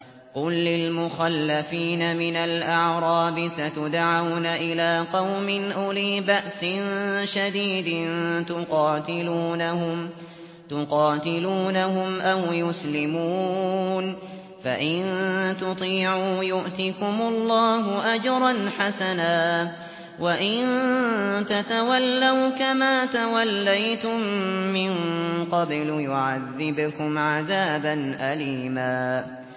قُل لِّلْمُخَلَّفِينَ مِنَ الْأَعْرَابِ سَتُدْعَوْنَ إِلَىٰ قَوْمٍ أُولِي بَأْسٍ شَدِيدٍ تُقَاتِلُونَهُمْ أَوْ يُسْلِمُونَ ۖ فَإِن تُطِيعُوا يُؤْتِكُمُ اللَّهُ أَجْرًا حَسَنًا ۖ وَإِن تَتَوَلَّوْا كَمَا تَوَلَّيْتُم مِّن قَبْلُ يُعَذِّبْكُمْ عَذَابًا أَلِيمًا